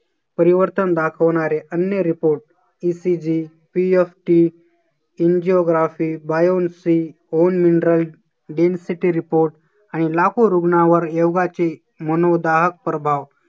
परिवर्तन दाखवणारे अन्य reportECG, PSTangiography, biolophy, whole mineral, density report आणि लाखो रुग्णावर योगाचे मनोगत प्रभाव